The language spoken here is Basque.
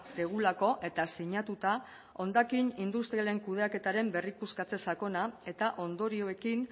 dugulako eta sinatuta hondakin industrialen kudeaketaren berrikuskatze sakona eta ondorioekin